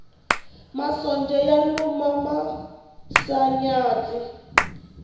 masonja ya luma misanyatsi